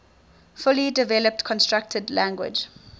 fully developed constructed language